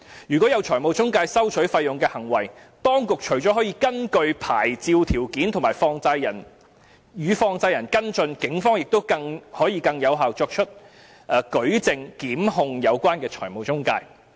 如果有財務中介收取費用的行為，當局除了可以根據牌照條件與放債人跟進外，警方可以更有效地作出舉證，檢控有關的財務中介。